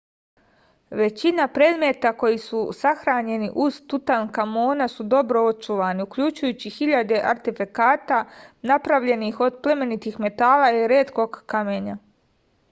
većina predmeta koji su sahranjeni uz tutankamona su dobro očuvani uključujući hiljade artefakata napravljenih od plemenitih metala i retkog kamenja